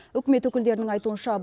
үкімет өкілдерінің айтуынша